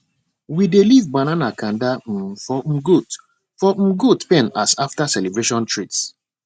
we dey leave banana cander um for um goat for um goat pen as after celebration treats